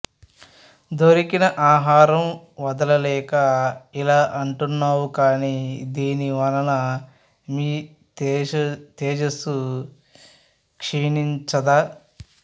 దొరికినఆహారం వదల లేక ఇలా అంటున్నావు కాని దీని వలన మీ తేజసు క్షీణించదా